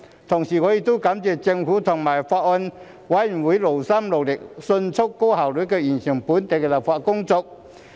同時我亦感謝政府和法案委員會勞心勞力，迅速高效地完成本地立法工作。